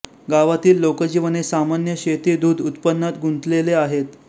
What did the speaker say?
गावातील लोकजीवन हे सामान्य शेती दूध उत्पन्नात गुंतलेले आहेत